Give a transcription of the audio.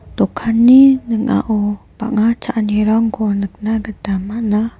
dokanni ning·ao bang·a cha·anirangko nikna gita man·a.